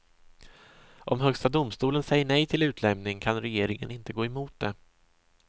Om högsta domstolen säger nej till utlämning kan regeringen inte gå emot det.